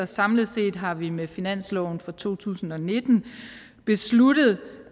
samlet set har vi med finansloven for to tusind og nitten besluttet